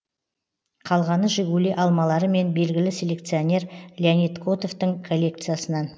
қалғаны жигули алмалары мен белгілі селекционер леонид котовтың коллекциясынан